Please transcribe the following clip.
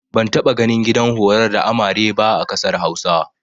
Ban taɓa ganin gidan horar da amare ba a ƙasar Hausa.